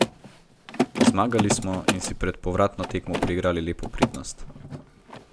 Zmagali smo in si pred povratno tekmo priigrali lepo prednost.